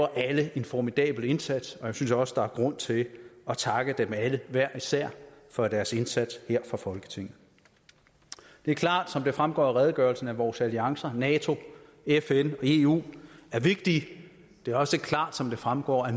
alle en formidabel indsats og jeg synes også at der er grund til at takke dem alle hver især for deres indsats her fra folketinget det er klart som det fremgår af redegørelsen at vores alliancer nato fn og eu er vigtige det er også klart som det fremgår at